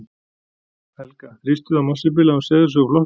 Helga: Þrýstuð þið á Marsibil að hún segði sig úr flokknum?